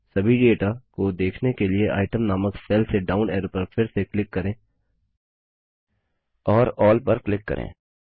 सभी डेटा को देखने के लिए इतेम नामक सेल के डाउन एरो पर फिर से क्लिक करें और अल्ल पर क्लिक करें